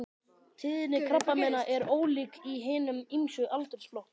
Tíðni krabbameina er ólík í hinum ýmsu aldursflokkum.